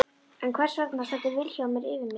En hvers vegna stendur Vilhjálmur yfir mér?